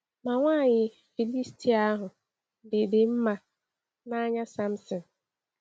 Ma nwaanyị Filistia ahụ dị dị “mma n’anya Samson.”